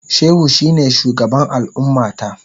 Shehu shine shugaban al'ummata.